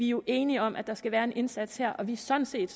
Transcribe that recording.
jo enige om at der skal være en indsats her og vi er sådan set